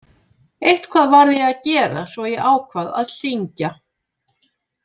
Eitthvað varð ég að gera svo ég ákvað að syngja.